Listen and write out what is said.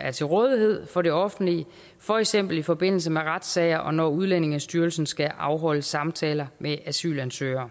er til rådighed for det offentlige for eksempel i forbindelse med retssager og når udlændingestyrelsen skal afholde samtaler med asylansøgere